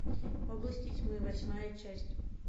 области тьмы восьмая часть